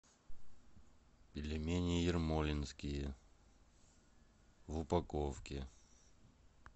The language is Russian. пельмени ермолинские в упаковке